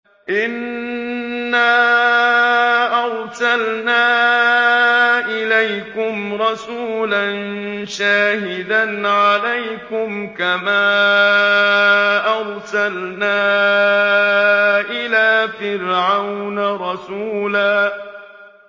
إِنَّا أَرْسَلْنَا إِلَيْكُمْ رَسُولًا شَاهِدًا عَلَيْكُمْ كَمَا أَرْسَلْنَا إِلَىٰ فِرْعَوْنَ رَسُولًا